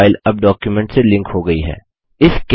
image file अब document से link हो गयी है